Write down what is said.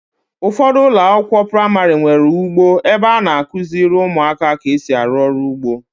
Ụfọdụ ụlọakwụkwọ praịmarị nwere ugbo ebe a na-akụziri ụmụaka ka esi arụ ọrụ ugbo.